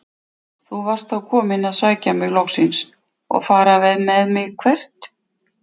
Þú varst þá kominn að sækja mig loksins og fara með mig- hvert?